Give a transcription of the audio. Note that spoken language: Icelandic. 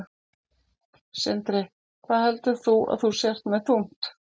Sindri: Hvað heldur þú að þú sért með þungt?